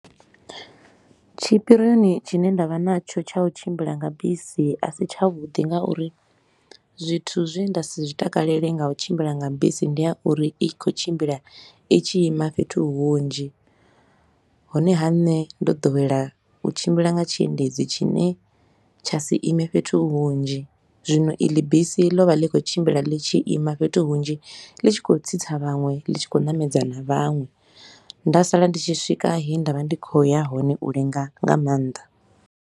Tshipirioni tshine nda vha natsho tsha u tshimbila nga bisi a si tsha vhuḓi nga uri zwithu zwe nda si zwi takalele nga u tshimbila nga bisi ndi ya uri i khou tshimbila i tshi ima fhethu hunzhi. Honeha, nṋe ndo ḓowela u tshimbila nga tshiendedzi tshine tsha si ime fhethu hunzhi, zwino iḽi bisi ḽo vha ḽi khou tshimbila ḽi tshi ima fhethu hunzhi, ḽi tshi khou tsitsa vhaṅwe, ḽi tshi khou ṋamedza na vhaṅwe. Nda sala ndi tshi swika he nda vha ndi khou ya hone u lenga nga maanḓa.